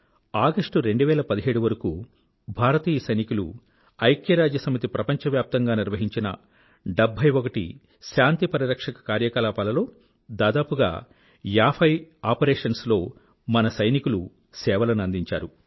August 2017 వరకూ భారతీయ సైనికులు ఐక్యరాజ్య సమితి ప్రపంచవ్యాప్తంగా నిర్వహించిన 71 శాంతి పరిరక్షక కార్యకలాపాల లో దాదాపుగా 50 ఆపరేషన్స్ లో మన సైనికిలు సేవలను అందించారు